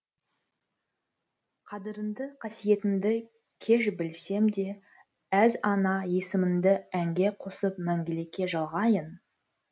қадіріңді қасиетіңді кеш білсем де әз ана есіміңді әнге қосып мәңгілікке жалғайын